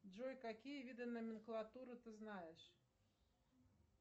джой какие виды номенклатуры ты знаешь